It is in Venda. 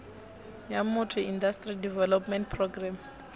ya motor industry development programme